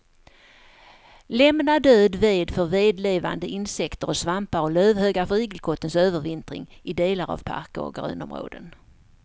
Lämna död ved för vedlevande insekter och svampar och lövhögar för igelkottens övervintring i delar av parker och grönområden.